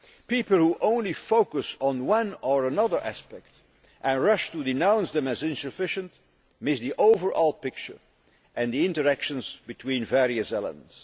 People who only focus on one or other aspect, and rush to denounce them as insufficient, miss the overall picture and the interactions between the various elements.